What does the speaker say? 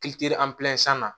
na